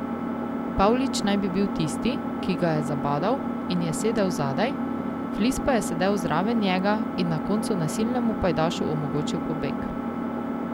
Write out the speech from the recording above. Pavlič naj bi bil tisti, ki ga je zabadal in je sedel zadaj, Flis pa je sedel zraven njega in na koncu nasilnemu pajdašu omogočil pobeg.